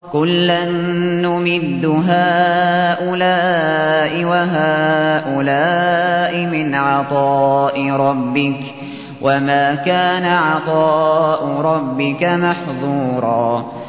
كُلًّا نُّمِدُّ هَٰؤُلَاءِ وَهَٰؤُلَاءِ مِنْ عَطَاءِ رَبِّكَ ۚ وَمَا كَانَ عَطَاءُ رَبِّكَ مَحْظُورًا